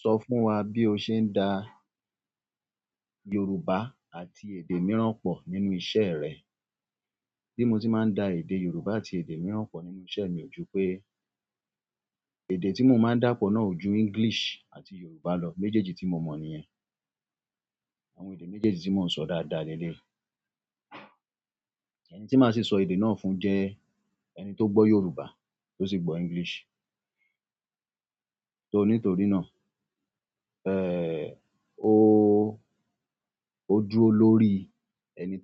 Sọ fún wa bí o ṣe ń da Yorùbá àti èdè mìíràn pọ̀ nínú iṣẹ́ rẹ. Bí mo ti máa ń da èdè Yorùbá àti èdè mìíràn pọ̀ nínú iṣẹ́ mi, o jú pé èdè tí mo máa ń dà pọ̀ náà ojú English àti Yorùbá lọ. Méjèjì ti mó mọ nìyẹn méjèjì ti mọ ń sọ dáadáa leleyii. Ẹni tí máa sì sọ èdè náà fún jẹ́ ẹni tó gbọ́ Yorùbá tó sì gbọ́ English. Nítorí náà o, o dúró lórí ẹni